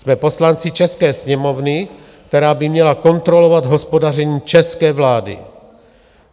Jsme poslanci české Sněmovny, která by měla kontrolovat hospodaření české vlády.